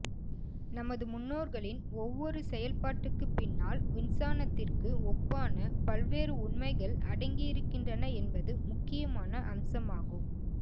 நமது முன்னோர்களின் ஒவ்வொரு செயல் பாட்டுக்கு பின்னால் விஞ்சானத்திற்கு ஒப்பான பல்வேறு உண்மைகள் அடங்கியிருக்கின்றன என்பது முக்கியமான அம்சமாகும்